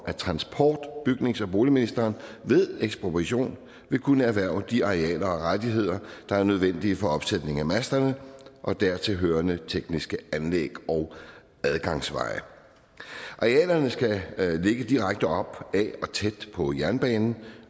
at transport bygnings og boligministeren ved ekspropriation vil kunne erhverve de arealer og rettigheder der er nødvendige for opsætning af masterne og dertilhørende tekniske anlæg og adgangsveje arealerne skal ligge direkte op ad og tæt på jernbanen